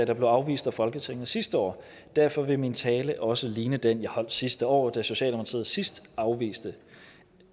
der blev afvist af folketinget sidste år derfor vil min tale også ligne den jeg holdt sidste år da socialdemokratiet sidst afviste